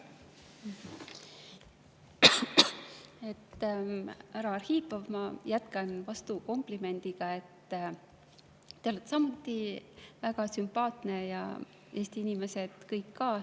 Härra Arhipov, ma jätkan vastukomplimendiga: te olete samuti väga sümpaatne ja Eesti inimesed kõik ka.